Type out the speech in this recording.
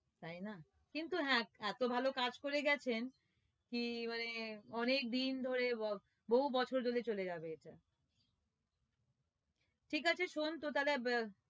তাই না কিন্তু হ্যাঁ এতো ভালো কাজ করে গেছেন কি মানে অনেকদিন ধরে আহ বহু বছর ধরে চলে যাবে ঠিক আছে শোন তো তালে